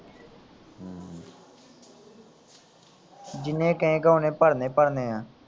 ਜਿੰਨੇ ਕਹੇ ਗਾਂ ਉਨੇ ਭਰਨੇ ਭਰਨੇ ਆ